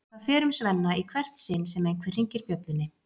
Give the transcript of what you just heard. Það fer um Svenna í hvert sinn sem einhver hringir bjöllunni.